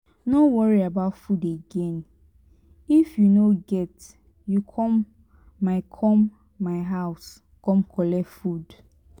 no worry about food again if you no get you come my come my house come collect food.